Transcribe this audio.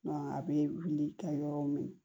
a bɛ wuli kɛ yɔrɔ min